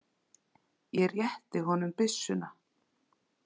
Ég rétti honum byssuna.